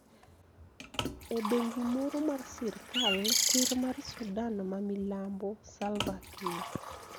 E bengi moro mar sirkal Ker mar Sudan ma milambo, Salva Kiir